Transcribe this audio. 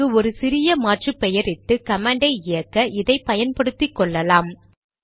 இதற்கு ஒரு சிறிய மாற்று பெயரிட்டு கமாண்டை இயக்க இதை பயன்படுத்திக்கொள்ளலாம்